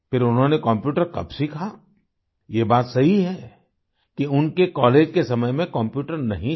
फिर उन्होंने कम्प्यूटर कब सीखा ये बात सही है कि उनके कॉलेज के समय में कम्प्यूटर नहीं था